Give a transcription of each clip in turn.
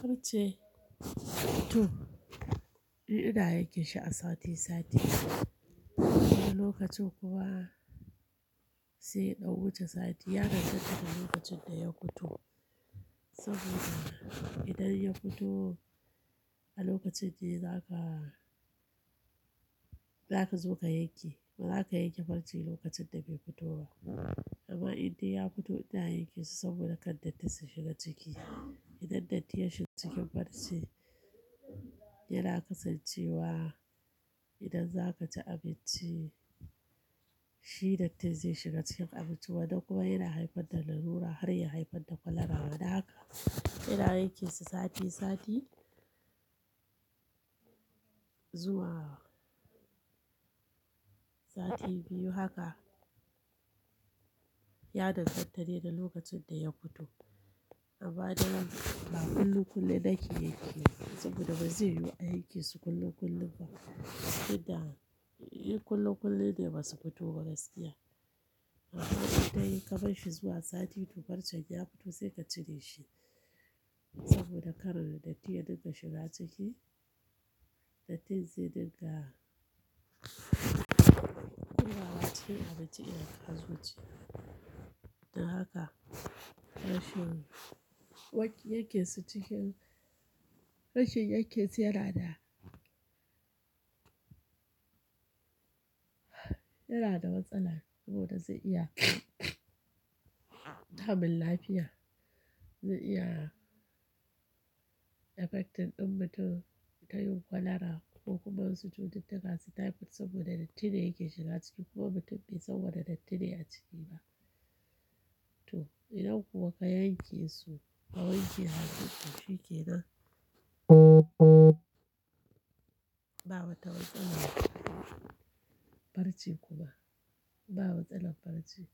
Farce to ina yanke shi a sati sati wani lokacin kuwa sai ya ɗan wuce sati ya danganta da lokacin da ya fito saboda idan ya fito a lokacin da zaka, zaka zo ka yanke, ba za ka yanke farcen lokacin da bai fito ba amma indai ya fito ina yanke shi saboda kar datti su shiga ciki. Idan datti ya shiga cikin farce yana kasancewa idan za ka ci abinci shi dattin zai shiga cikin abinci wannan kuma yana haifar da lalura har ya haifar da kwalara. Don haka ina yanke shi sati sati zuwa sati biyu haka ya danganta dai da lokacin da ya fito. Amma daren ba kullum kullum nake yanke shi saboda ba zai yiwu a yanke shi kullum kullum ba idan, in kullum kullum ne ba su fito ba gaskiya. Amma idan ya yi kamar shi zuwa sati uku farcen ya fito sai ka cire shi saboda kar dattin ya dinga shiga ciki, dattin zai dinga shiga cikin abinci in ka zo ci. Don haka rashin waki-- yanke shi cikin, rashin yanke shi yana da, yana da matsala saboda zai iya damun lafiya, zai iya affecting ɗin mutum ta yin kwalara ko kuma wasu cututtuka su type saboda dattin ne yake shiga ciki kuma mutum bai san wanda dattin ne a ciki ba. To idan kuma ka yanke su ka wanke hannun to shi ke nan ba wata watsa farci kuma ba watsa na farci.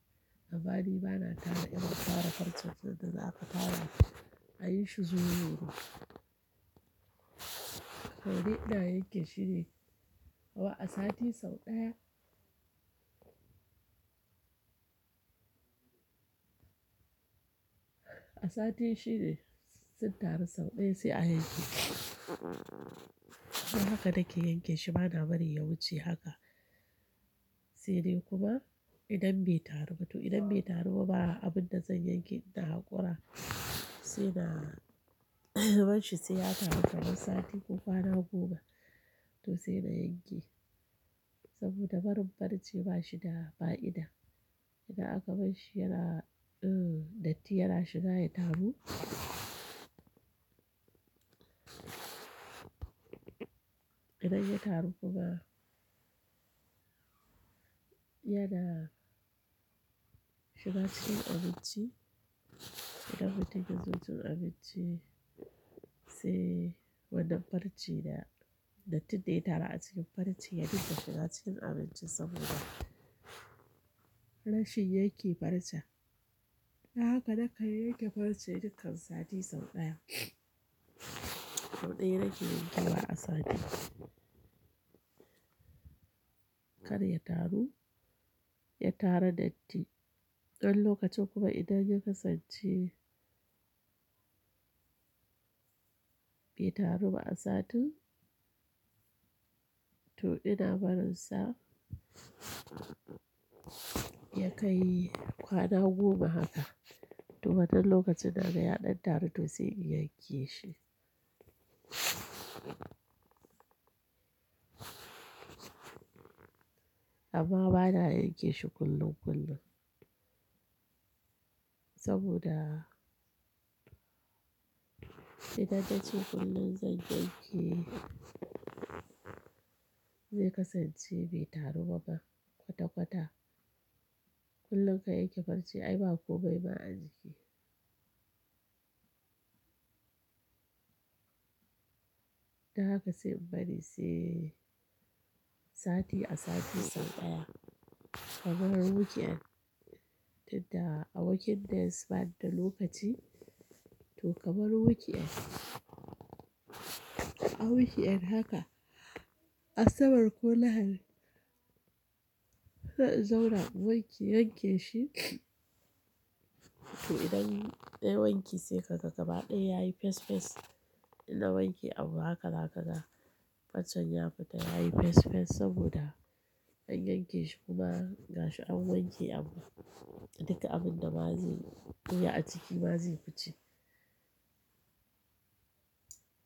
Amma ni bana tara ina tara farcen ta da za ka tara a yi shi zuwa luru. Saboda ina yanke shi ne kuwa a sati sau ɗaya. A sati shi ne sun taru sau ɗaya sai a yanke. Don haka nake yanke shi bana bari ya wuce haka. Sai dai kuma idan bai taru ba to idan bai taru ba a abun da zan yanke ina haƙora sai na barin shi sai ya taru kamar sati kuka na guga to sai na yanke saboda barin farce ba shi da fa'ida. Idan aka bar shi yana, eh, datti yana shiga ya taru. Idan ya taru kuka yana shiga cikin abinci idan mutum ya zo cin abinci sai wannan farcen da dattin da ya taru a cikin farcen ya dinga shiga cikin abincin saboda rashin yanke farce. Don haka nakan yanke farce duk kan sati sau ɗaya. Sau ɗaya nake yankewa a sati. Kar ya taru, ya tara datti. Wani lokacin kuma idan ya kasance bai taru ba a satin to ina barin sa ya kai kwana goma haka to wannnan lokacin na ga ya ɗan taru to sai in yanke shi. Amma bana yanke shi kullum kullum saboda idan na ce kullum zan yanke zai kasance bai taru ba kwata kwata. Kullum ka yanke farce ai ba ko bai ma an cike. Don haka sai bari sai sati a sati sau ɗaya. Ka mar week end duk da a working days bani da lokaci to kamar weekend. A weekend haka a sabar ko lahadi zauna wanke yanke shi to idan nai wanke sai ka ga gaba ɗaya yayi fes fes idan wanke abu haka laka da farcen ya fita yayi fes fes saboda an yanke shi kuma gashi an wanke abu duka abun da ba zai iya a ciki ba zai fice.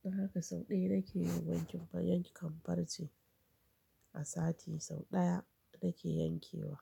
Don haka sau ɗaya nake yi wanke kuma yanke farce a sati sau ɗaya nake yankewa.